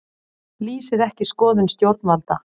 Lýsir ekki skoðun stjórnvalda